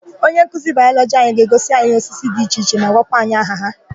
Onyenkuzi Bayọlọgị anyị ga-egosi anyị osisi dị iche iche ma gwakwa anyị aha ha.